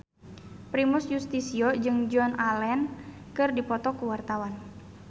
Primus Yustisio jeung Joan Allen keur dipoto ku wartawan